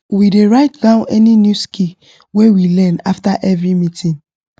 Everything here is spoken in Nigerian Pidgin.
we dey write down any new skill wey we learn after every meeting